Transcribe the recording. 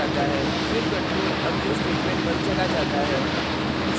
फिर control अगले statement पर चला जाता है